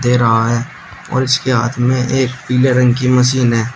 दे रहा है और इसके हाथ में एक पीले रंग की मशीन है।